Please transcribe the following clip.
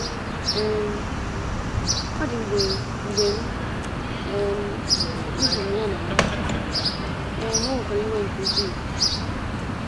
“ um Ọ dị mgbe mgbe m um hụrụ ya na ya, um o wekwara m iwe nke ukwuu.